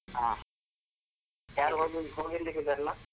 ಹಾ, ಯಾರು ಹೋಗಿ~ ಹೋಗಿರ್ಲಿಕ್ಕಿಲ್ಲ ಅಲ.